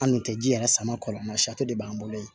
An dun tɛ ji yɛrɛ sama kɔlɔn sari de b'an bolo yen